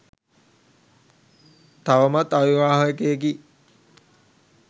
තවමත් අවිවාහකයෙකි.